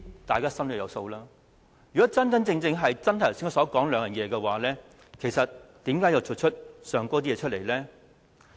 大家心中有數，如果真的一如我剛才所說，是善用時間和為市民謀福祉，又怎會做出上述的行為呢？